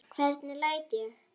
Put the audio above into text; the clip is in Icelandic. Hvernig læt ég.